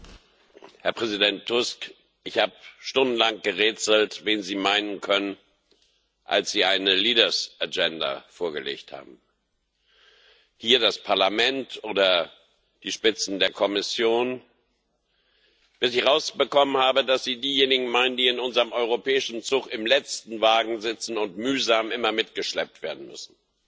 Frau Präsidentin, Herr Präsident Tusk! Ich habe stundenlang gerätselt, wen Sie meinen konnten, als Sie eine vorgelegt haben Das Parlament oder die Spitzen der Kommission bis ich herausbekommen habe, dass Sie diejenigen meinen, die in unserem europäischen Zug im letzten Wagen sitzen und mühsam immer mitgeschleppt werden müssen.